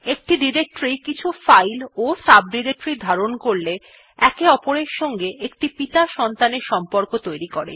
একটি ডিরেক্টরী কিছু ফাইল ও সাবডিরেক্টরির ধারণ করলে একে অপরের সঙ্গে একটি পিতা- সন্তানের সম্পর্ক তৈরী করে